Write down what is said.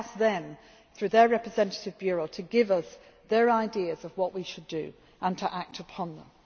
themselves. I asked them through their representative bureau to give us their ideas on what we should do and to act